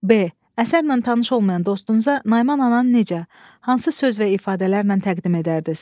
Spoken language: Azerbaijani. B. Əsərlə tanış olmayan dostunuza Nayman ananı necə, hansı söz və ifadələrlə təqdim edərdiniz?